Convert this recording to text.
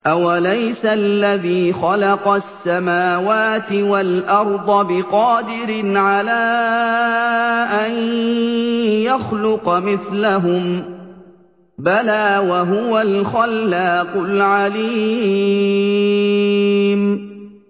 أَوَلَيْسَ الَّذِي خَلَقَ السَّمَاوَاتِ وَالْأَرْضَ بِقَادِرٍ عَلَىٰ أَن يَخْلُقَ مِثْلَهُم ۚ بَلَىٰ وَهُوَ الْخَلَّاقُ الْعَلِيمُ